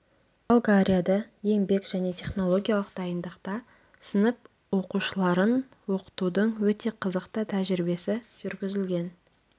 болгарияда еңбек және технологиялық дайындықта сынып оқушыларын оқытудың өте қызықты тәжірибесі жүргізілген